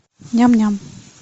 ням ням